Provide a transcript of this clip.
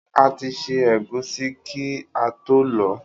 A ti ṣẹ́ ẹ̀gúsí kí ató lọ̀ọ́.